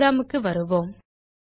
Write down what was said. program க்கு வருவோம்